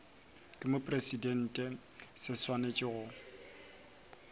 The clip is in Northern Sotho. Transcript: ke mopresidente se swanetše go